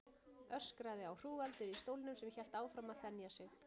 Öskraði á hrúgaldið í stólnum sem hélt áfram að þenja sig.